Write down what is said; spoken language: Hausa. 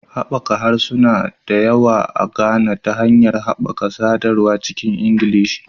Haɓaka harsuna da yawa a Ghana ta hanyar haɓaka sadarwa cikin Ingilishi